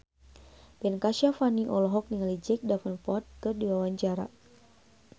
Ben Kasyafani olohok ningali Jack Davenport keur diwawancara